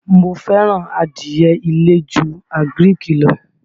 Mó fẹ́ràn adìye ilé ju àgíríìkì lọ.